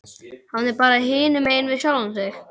Hann er bara hinumegin við sjálfan sig.